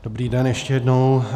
Dobrý den, ještě jednou.